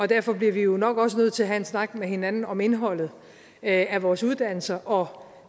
derfor bliver vi jo nok også nødt til at have en snak med hinanden om indholdet af vores uddannelser og